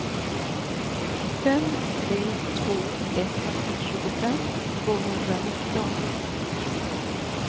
fem tre två ett tjugofem tvåhundranitton